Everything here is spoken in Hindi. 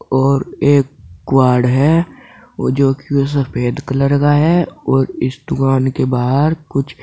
और एक क्वॉड है वो जो की वो सफेद कलर का है और इस दुकान के बाहर कुछ--